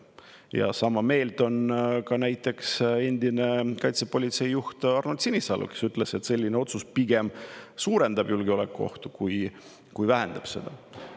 Ja sama meelt on ka näiteks endine kaitsepolitsei juht Arnold Sinisalu, kes ütles, et selline otsus pigem suurendab julgeolekuohtu, kui vähendab seda.